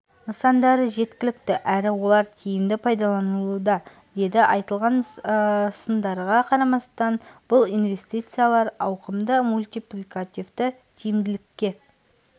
нысандары жеткілікті әрі олар тиімді пайдаланылуда деді айтылған сындарға қарамастан бұл инвестициялар ауқымды мультипликативті тиімділікке